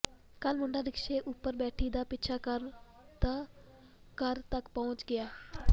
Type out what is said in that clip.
ਕੱਲ੍ਹ ਮੁੰਡਾ ਰਿਕਸ਼ੇ ਉੱਪਰ ਬੈਠੀ ਦਾ ਪਿੱਛਾ ਕਰਦਾ ਘਰ ਤਕ ਪਹੁੰਚ ਗਿਆ